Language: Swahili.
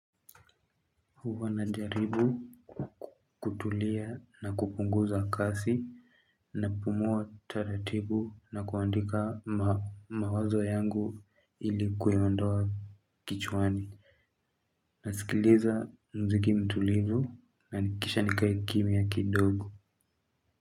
Huwa na jaribu kutulia na kupunguza kasi. Na pumua taratibu na kuandika mawazo yangu ilikuindoa kichwani. Na sikiliza mziki mtulivu na nikisha nikae kimya kidogo.